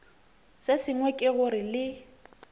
se sengwe ke gore le